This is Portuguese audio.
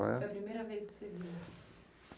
Foi a primeira vez que você viu?